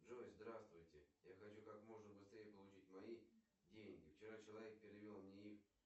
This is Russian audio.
джой здравствуйте я хочу как можно быстрее получить мои деньги вчера человек перевел мне их